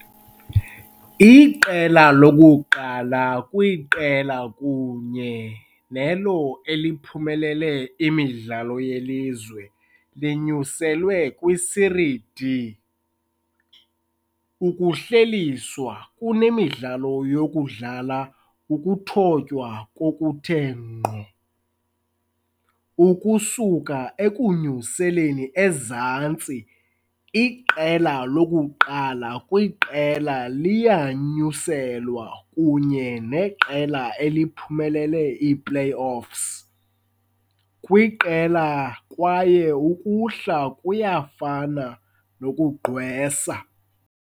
Iqela lokuqala kwiqela kunye nelo eliphumelele imidlalo yelizwe linyuselwe kwiSerie D. Ukuhlehliswa kunemidlalo yokudlala ukuthotywa ngokuthe ngqo. Ukusuka ekunyuseleni ezantsi, iqela lokuqala kwiqela liyanyuselwa kunye neqela eliphumelele i-playoffs kwiqela kwaye ukuhla kuyafana nokugqwesa.